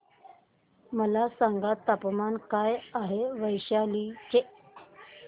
मला सांगा तापमान काय आहे वैशाली चे